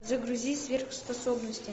загрузи сверхспособности